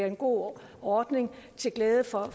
en god ordning til glæde for